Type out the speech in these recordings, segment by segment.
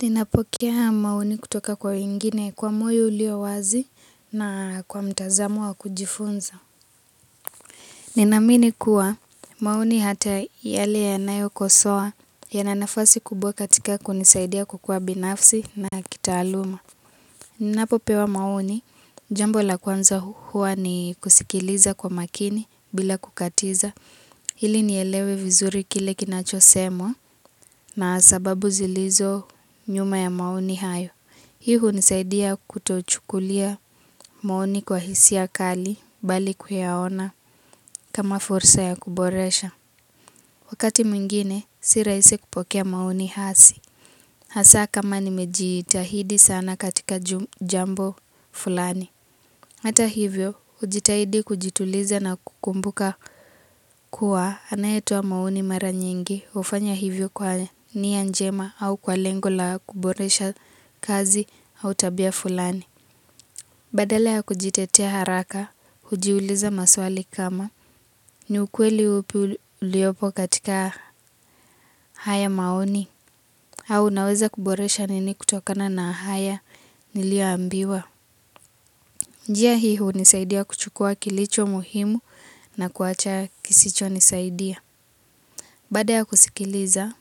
Ninapokea maoni kutoka kwa wengine kwa moyo uliowazi na kwa mtazamo wa kujifunza. Ninaamini kuwa maoni hata yale yanayo kosoa yana nafasi kubwa katika kunisaidia kukua binafsi na kitaaluma. Ninapopewa maoni, jambo la kwanza huwa ni kusikiliza kwa makini bila kukatiza. Ilielewe vizuri kile kinachosemwa na sababu zilizo nyuma ya maoni hayo. Hii hunisaidia kutochukulia maoni kwa hisia kali bali kuyaona kama fursa ya kuboresha. Wakati mwingine, si raisi kupokea maoni hasi. Hasa kama nimejiitahidi sana katika jambo fulani. Hata hivyo, hujitahidi kujituliza na kukumbuka kuwa anayetoa maoni mara nyingi. Hufanya hivyo kwa nia njema au kwa lengo la kuboresha kazi au tabia fulani. Badala ya kujitetea haraka, hujiuliza maswali kama ni, ukweli upi uliopo katika haya maoni? Au naweza kuboresha nini kutokana na haya nilioambiwa? Njia hii hunisaidia kuchukua kilicho muhimu na kuacha kisichonisaidia. Baada ya kusikiliza,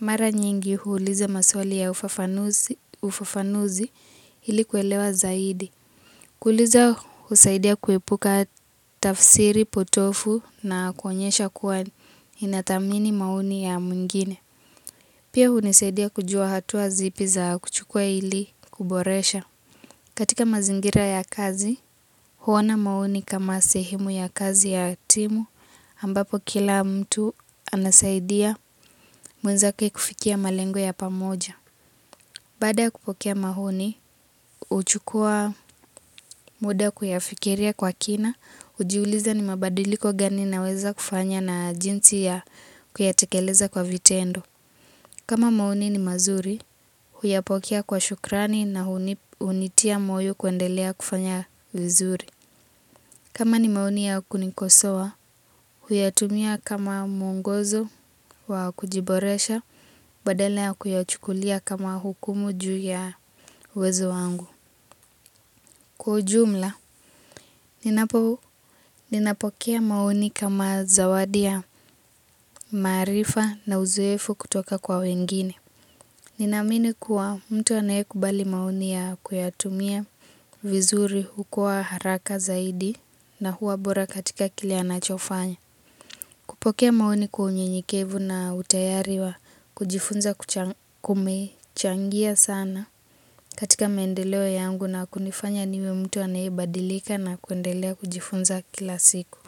mara nyingi huuliza maswali ya ufafanuzi ili kuelewa zaidi. Kuliza husaidia kuipuka tafsiri potovu na kuonyesha kuwa inathamini maoni ya mwingine. Pia hunisaidia kujua hatua zipi za kuchukua ili kuboresha. Katika mazingira ya kazi, huona maoni kama sehimu ya kazi ya timu, ambapo kila mtu anasaidia mwenzake kufikia malengo ya pamoja. Baada kupokea maoni, huchukua muda kuyafikiria kwa kina, hujiuliza ni mabadiliko gani naweza kufanya na jinsi ya kuyatekeleza kwa vitendo. Kama maoni ni mazuri, huyapokea kwa shukrani na hunitia moyo kuendelea kufanya vizuri. Kama ni maoni ya kunikosoa, huyatumia kama muongozo wa kujiboresha, badala ya kuyachukulia kama hukumu juu ya uwezo wangu. Kwa ujumla, ninapokea mauni kama zawadi ya marifa na uzuefu kutoka kwa wengine. Ninaamini kuwa mtu anayekubali maoni ya kuyatumia vizuri hukua haraka zaidi na huwa bora katika kile anachofanya. Kupokea maoni kwa unyenyekevu na utayari wa kujifunza kumechangia sana. Katika maendeleo yangu na kunifanya niwe mtu anayebadilika na kuendelea kujifunza kila siku.